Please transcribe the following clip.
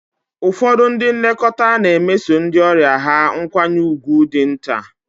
Ụfọdụ ndị nlekọta na-emeso ndị ọrịa ha nkwanye ùgwù dị nta.